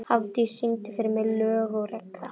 Hafdís, syngdu fyrir mig „Lög og regla“.